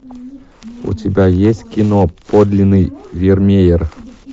у тебя есть кино подлинный вермеер